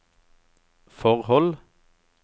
forhold